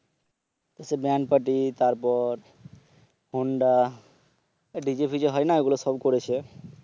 band party তারপর DJ ফিজে হয়না ওগুলো সব করেছে